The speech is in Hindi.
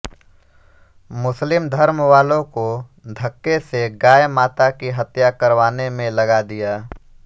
मुस्लिम धर्म वालों को धक्के से गाय माता की हत्या करवाने में लगा दिया